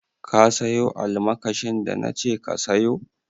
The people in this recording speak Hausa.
Ka sayo almakashin da na ce ka sayo?